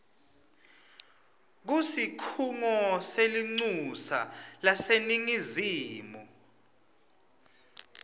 kusikhungo selincusa laseningizimu